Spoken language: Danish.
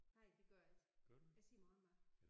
Nej det gør jeg ikke. Jeg siger morgenmad